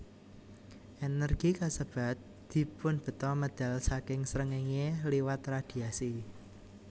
Ènèrgi kasebat dipunbeta medal saking srengéngé liwat radhiasi